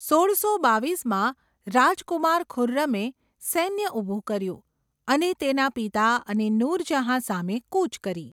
સોળસો બાવીસમાં રાજકુમાર ખુર્રમે સૈન્ય ઊભું કર્યું અને તેના પિતા અને નૂરજહાં સામે કૂચ કરી.